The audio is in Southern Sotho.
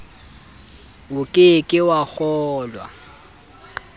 o ke ke wa kgolwa